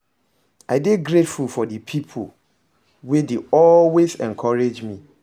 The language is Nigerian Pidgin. I dey grateful for di people wey dey always encourage me.